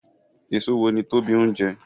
Èso wo ni Tobi ń jẹ?